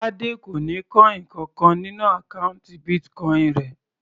Tade kò ní coin kankan nínú àkọ́ùntì Bitcoin rẹ̀.